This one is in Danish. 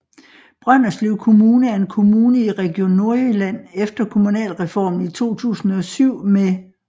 Brønderslev Kommune er en kommune i Region Nordjylland efter Kommunalreformen i 2007 med